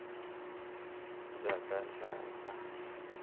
njhakanjhaka